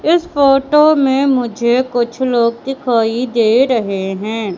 इस फोटो में मुझे कुछ लोग दिखाई दे रहे हैं।